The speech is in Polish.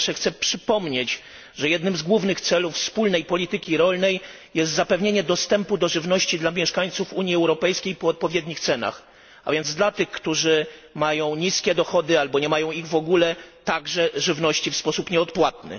Po pierwsze chcę przypomnieć, że jednym z głównych celów wspólnej polityki rolnej jest zapewnienie dostępu do żywności dla mieszkańców Unii Europejskiej po odpowiednich cenach, a więc dla tych, którzy mają niskie dochody albo nie mają ich w ogóle, także żywności w sposób nieodpłatny.